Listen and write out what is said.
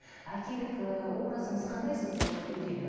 әкелік ы образыңыз қандай сізде үйдегі